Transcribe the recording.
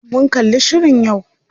Mun kalli shirin yau.